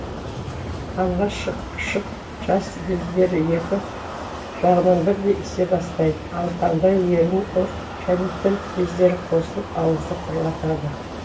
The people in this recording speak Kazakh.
алғаш шықшыт жас бездері екі жағынан бірдей ісе бастайды ал таңдай ерін ұрт және тіл бездері қосылып ауызды құрғатады